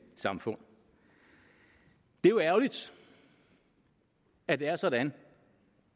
samfund det er jo ærgerligt at det er sådan